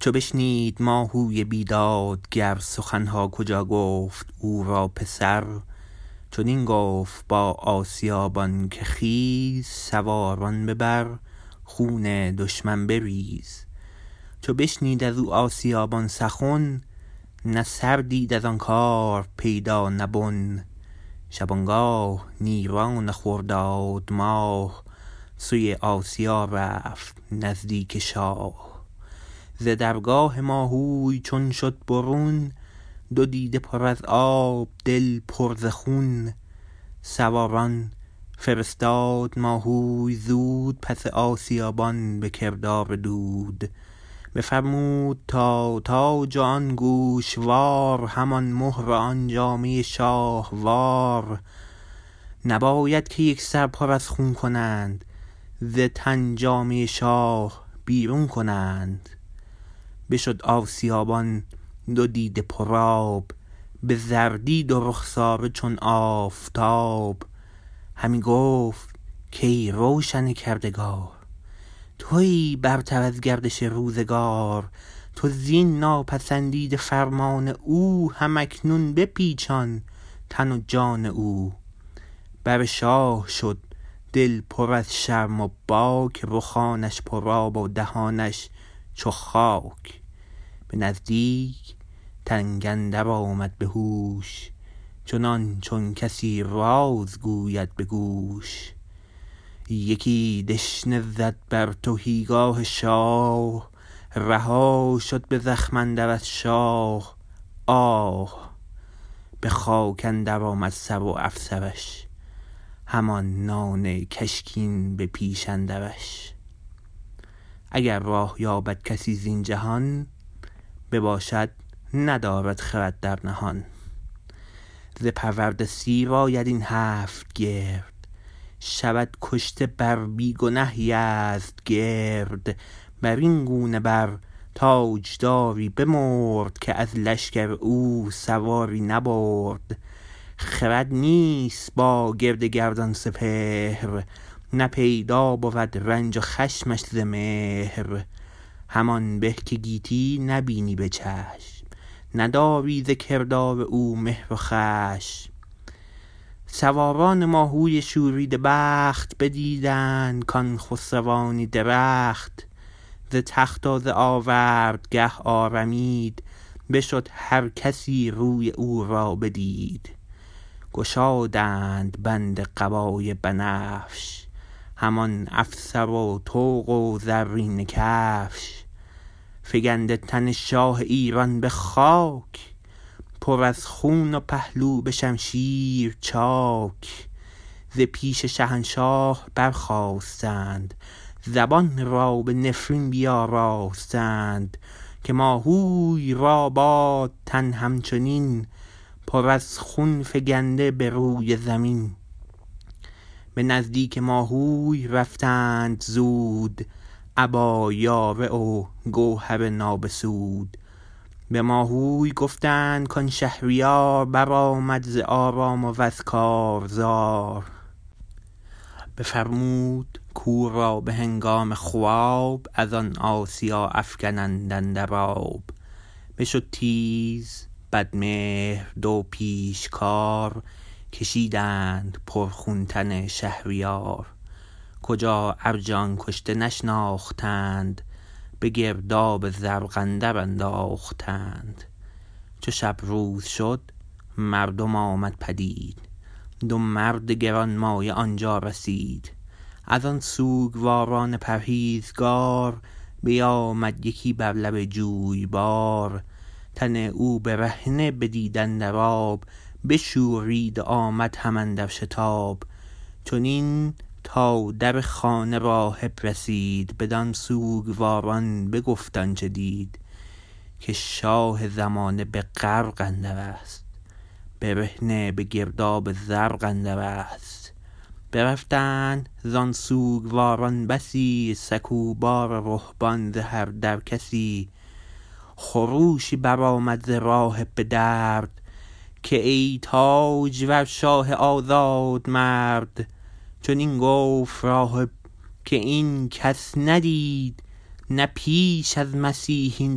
چو بشنید ماهوی بیدادگر سخن ها کجا گفت او را پسر چنین گفت با آسیابان که خیز سواران ببر خون دشمن بریز چو بشنید از او آسیابان سخن نه سر دید از آن کار پیدا نه بن شبانگاه نیران خرداد ماه سوی آسیا رفت نزدیک شاه ز درگاه ماهوی چون شد برون دو دیده پر از آب دل پر ز خون سواران فرستاد ماهوی زود پس آسیابان به کردار دود بفرمود تا تاج و آن گوشوار همان مهر و آن جامه شاه وار نباید که یک سر پر از خون کنند ز تن جامه شاه بیرون کنند بشد آسیابان دو دیده پرآب به زردی دو رخساره چون آفتاب همی گفت کای روشن کردگار تویی برتر از گردش روزگار تو زین ناپسندیده فرمان او هم اکنون بپیچان تن و جان او بر شاه شد دل پر از شرم و باک رخانش پرآب و دهانش چو خاک به نزدیک تنگ اندر آمد به هوش چنان چون کسی راز گوید به گوش یکی دشنه زد بر تهیگاه شاه رها شد به زخم اندر از شاه آه به خاک اندر آمد سر و افسرش همان نان کشکین به پیش اندرش اگر راه یابد کسی زین جهان بباشد ندارد خرد در نهان ز پرورده سیر آید این هفت گرد شود کشته بر بی گنه یزدگرد بر این گونه بر تاجداری بمرد که از لشکر او سواری نبرد خرد نیست با گرد گردان سپهر نه پیدا بود رنج و خشمش ز مهر همان به که گیتی نبینی به چشم نداری ز کردار او مهر و خشم سواران ماهوی شوریده بخت بدیدند کآن خسروانی درخت ز تخت و ز آوردگه آرمید بشد هر کسی روی او را بدید گشادند بند قبای بنفش همان افسر و طوق و زرینه کفش فگنده تن شاه ایران به خاک پر از خون و پهلو به شمشیر چاک ز پیش شهنشاه برخاستند زبان را به نفرین بیاراستند که ماهوی را باد تن همچنین پر از خون فگنده به روی زمین به نزدیک ماهوی رفتند زود ابا یاره و گوهر نابسود به ماهوی گفتند کآن شهریار بر آمد ز آرام و از کارزار بفرمود کو را به هنگام خواب از آن آسیا افگنند اندر آب بشد تیز بدمهر دو پیشکار کشیدند پرخون تن شهریار کجا ارج آن کشته نشناختند به گرداب زرق اندر انداختند چو شب روز شد مردم آمد پدید دو مرد گرانمایه آنجا رسید از آن سوگواران پرهیزگار بیامد یکی بر لب جویبار تن او برهنه بدید اندر آب بشورید و آمد هم اندر شتاب چنین تا در خانه راهب رسید بدان سوگواران بگفت آن چه دید که شاه زمانه به غرق اندرست برهنه به گرداب زرق اندرست برفتند زان سوگواران بسی سکوبا و رهبان ز هر در کسی خروشی بر آمد ز راهب به درد که ای تاجور شاه آزادمرد چنین گفت راهب که این کس ندید نه پیش از مسیح این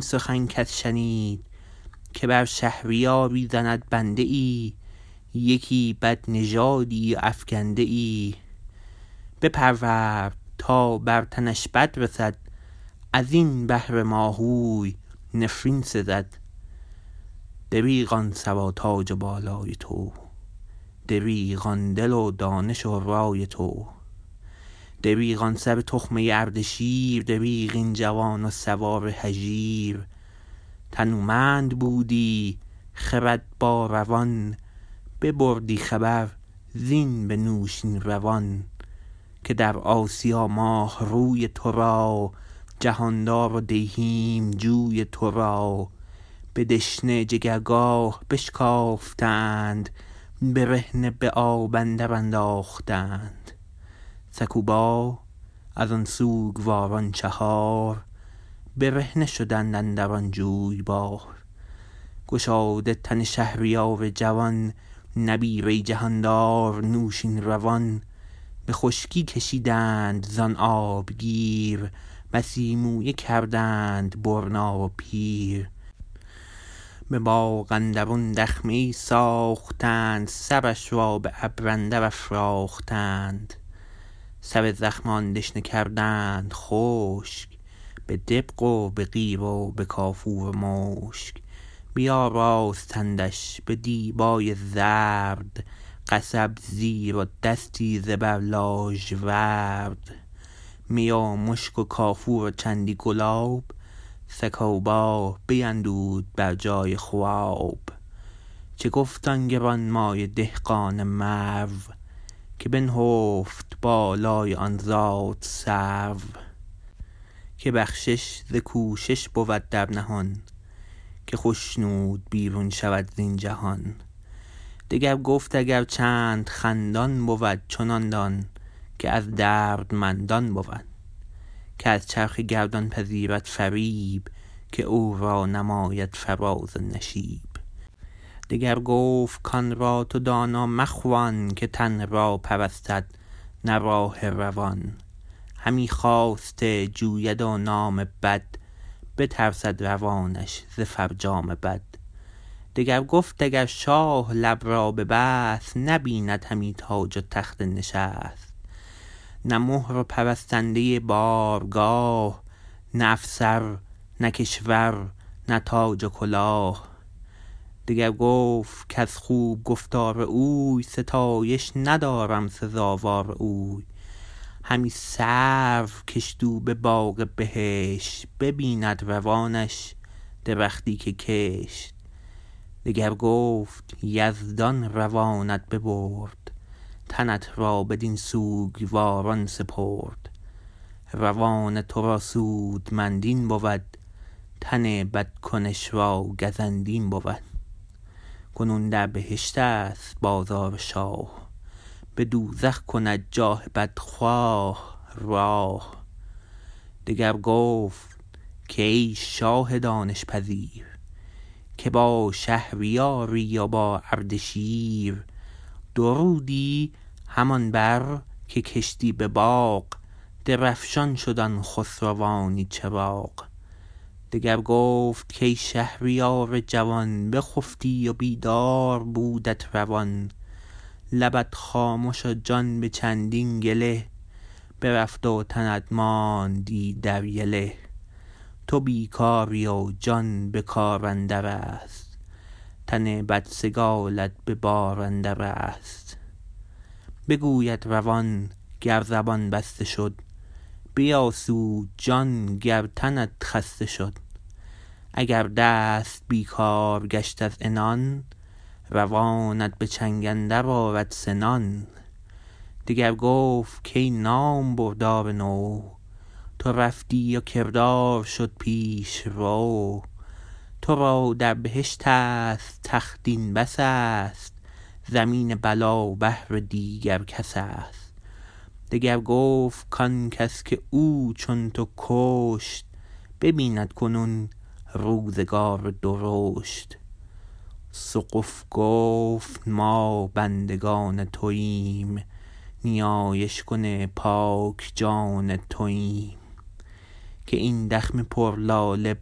سخن کس شنید که بر شهریاری زند بنده ای یکی بدنژادی و افگنده ای بپرورد تا بر تنش بد رسد از این بهر ماهوی نفرین سزد دریغ آن سر و تاج و بالای تو دریغ آن دل و دانش و رای تو دریغ آن سر تخمه اردشیر دریغ این جوان و سوار هژیر تنومند بودی خرد با روان ببردی خبر زین به نوشین روان که در آسیا ماه روی تو را جهاندار و دیهیم جوی تو را به دشنه جگرگاه بشکافتند برهنه به آب اندر انداختند سکوبا از آن سوگواران چهار برهنه شدند اندران جویبار گشاده تن شهریار جوان نبیره ی جهاندار نوشین روان به خشکی کشیدند زان آبگیر بسی مویه کردند برنا و پیر به باغ اندرون دخمه ای ساختند سرش را به ابر اندر افراختند سر زخم آن دشنه کردند خشک به دبق و به قیر و به کافور و مشک بیاراستندش به دیبای زرد قصب زیر و دستی زبر لاژورد می و مشک و کافور و چندی گلاب سکوبا بیندود بر جای خواب چه گفت آن گرانمایه دهقان مرو که بنهفت بالای آن زادسرو که بخشش ز کوشش بود در نهان که خشنود بیرون شود زین جهان دگر گفت اگر چند خندان بود چنان دان که از دردمندان بود که از چرخ گردان پذیرد فریب که او را نماید فراز و نشیب دگر گفت کآن را تو دانا مخوان که تن را پرستد نه راه روان همی خواسته جوید و نام بد بترسد روانش ز فرجام بد دگر گفت اگر شاه لب را ببست نبیند همی تاج و تخت نشست نه مهر و پرستنده بارگاه نه افسر نه کشور نه تاج و کلاه دگر گفت کز خوب گفتار اوی ستایش ندارم سزاوار اوی همی سرو کشت او به باغ بهشت ببیند روانش درختی که کشت دگر گفت یزدان روانت ببرد تنت را بدین سوگواران سپرد روان تو را سودمند این بود تن بدکنش را گزند این بود کنون در بهشت است بازار شاه به دوزخ کند جان بدخواه راه دگر گفت کای شاه دانش پذیر که با شهریاری و با اردشیر درودی همان بر که کشتی به باغ درفشان شد آن خسروانی چراغ دگر گفت کای شهریار جوان بخفتی و بیدار بودت روان لبت خامش و جان به چندین گله برفت و تنت ماند ایدر یله تو بیکاری و جان به کار اندر است تن بدسگالت به بار اندر است بگوید روان گر زبان بسته شد بیاسود جان گر تنت خسته شد اگر دست بیکار گشت از عنان روانت به چنگ اندر آرد سنان دگر گفت کای نامبردار نو تو رفتی و کردار شد پیش رو تو را در بهشت است تخت این بس است زمین بلا بهر دیگر کس است دگر گفت کآن کس که او چون تو کشت ببیند کنون روزگار درشت سقف گفت ما بندگان تویم نیایش کن پاک جان تویم که این دخمه پر لاله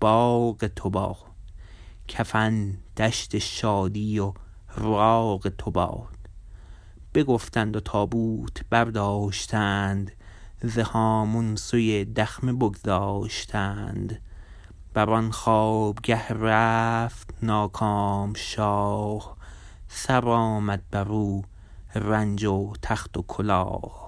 باغ تو باد کفن دشت شادی و راغ تو باد بگفتند و تابوت برداشتند ز هامون سوی دخمه بگذاشتند بر آن خوابگه رفت ناکام شاه سر آمد بر او رنج و تخت و کلاه